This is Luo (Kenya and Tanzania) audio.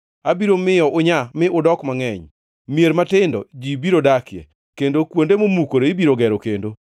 abiro miyo unyaa mi udok mangʼeny. Mier matindo ji biro dakie, kendo kuonde momukore ibiro gero kendo.